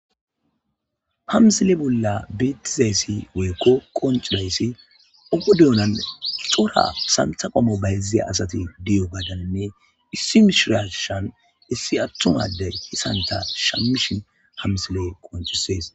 ha mzile bolla beetizayssi weykko qoncidayssi ugu deyonan xora santha qommo bayziya asati diyo gadaninne issi mishirashan issi attuma ade santa shammishin hamsile qoncisees